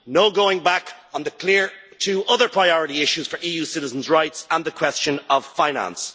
no going back on the clear two other priority issues for EU citizens' rights and the question of finance.